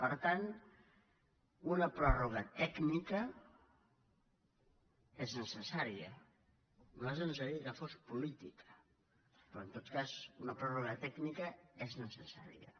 per tant una pròrroga tècnica és necessària a nosaltres ens agradaria que fos política però en tot cas una pròrroga tècnica és necessària